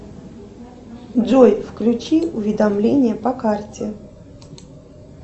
джой включи уведомление по карте